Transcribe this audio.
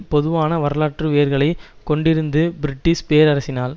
பொதுவான வரலாற்று வேர்களை கொண்டிருந்து பிரிட்டஷ் பேரரசினால்